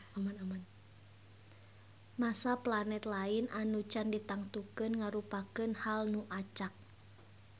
Massa planet lain anu can ditangtukeun ngarupakeun hal nu acak